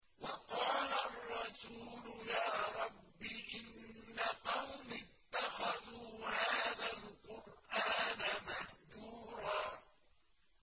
وَقَالَ الرَّسُولُ يَا رَبِّ إِنَّ قَوْمِي اتَّخَذُوا هَٰذَا الْقُرْآنَ مَهْجُورًا